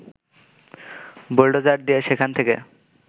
bulldozer দিয়ে সেখান থেকে